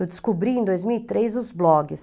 Eu descobri em dois mil e três os blogs.